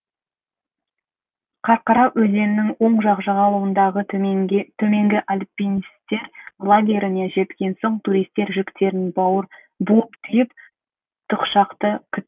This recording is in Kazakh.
қарқара өзенінің оң жақ жағалауындағы төменгі альпинистер лагеріне жеткен соң туристер жүктерін буып түйіп тікұшақты күтті